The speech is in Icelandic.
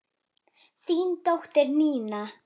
Þín dóttir, Nína.